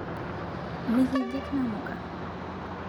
Mikijik namuka